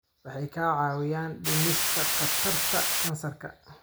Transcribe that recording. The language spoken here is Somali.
Waxay kaa caawinayaan dhimista khatarta kansarka.